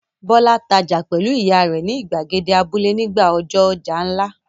Bọ́lá tajà pẹ̀lú ìyá rẹ̀ ni ìgbàgede abúlé nígbà ọjọ́ ọjà ńlá.